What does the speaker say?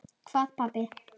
Hvað pabbi?